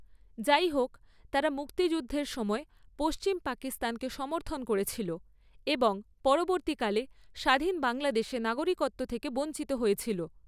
যাইহোক, তারা মুক্তিযুদ্ধের সময় পশ্চিম পাকিস্তানকে সমর্থন করেছিল এবং পরবর্তীকালে স্বাধীন বাংলাদেশে নাগরিকত্ব থেকে বঞ্চিত হয়েছিল।